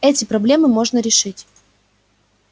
эти проблемы можно решить